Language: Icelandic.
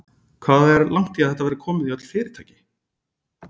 Hvað er langt í að þetta verði komið í öll fyrirtæki?